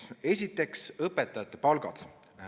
Esiteks, õpetajate palgad.